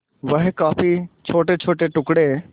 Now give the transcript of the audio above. वह काफी छोटेछोटे टुकड़े